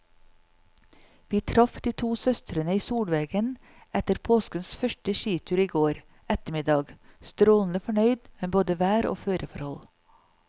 Vi traff de to søstrene i solveggen etter påskens første skitur i går ettermiddag, strålende fornøyde med både vær og føreforhold.